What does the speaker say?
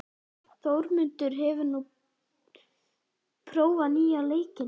Þórmundur, hefur þú prófað nýja leikinn?